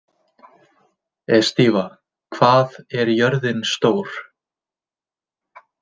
Estiva, hvað er jörðin stór?